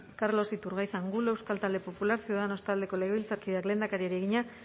carlos iturgaiz angulo euskal talde popular ciudadanos taldeko legebiltzarkideak lehendakariari egina